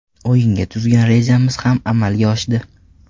O‘yinga tuzgan rejamiz ham amalga oshdi.